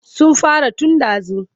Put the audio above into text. Sun fara tun ɗazu.